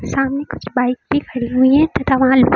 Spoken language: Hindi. सामने कुछ बाइक भी खड़ी हुई हैं तथा वहां लो--